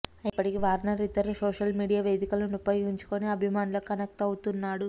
అయినప్పటికీ వార్నర్ ఇతర సోషల్మీడియా వేదికలను ఉపయోగించుకొని అభిమానులకు కనెక్ట్ అవుతున్నాడు